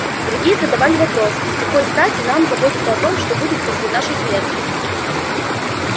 другие задавали вопросы с какой стати нам заботиться о том что будет после нашей смерти